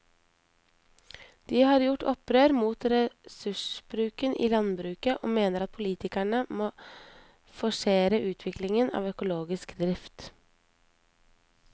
De har gjort opprør mot ressursbruken i landbruket og mener at politikerne må forsere utviklingen av økologisk drift.